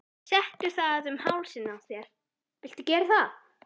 Settu það um hálsinn á þér viltu gera það?